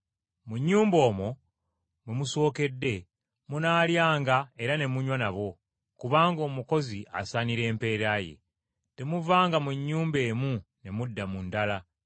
Mu nnyumba omwo, mwe musookedde, munaalyanga era ne munywa nabo, kubanga omukozi asaanira empeera ye. Temuvanga mu nnyumba emu ne mudda mu ndala.